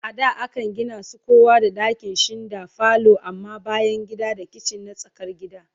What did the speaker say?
A da Akan Gina su kowa da dakinshinda falo amma bayangida da kitchen na tsakar gida